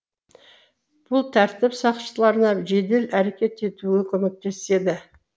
бұл тәртіп сақшыларына жедел әрекет етуге көмектеседі